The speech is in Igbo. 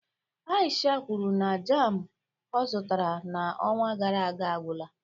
Aisha kwuru na jam ọ zụtara n'ọnwa gara aga agwụla